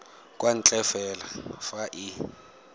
kwa ntle fela fa e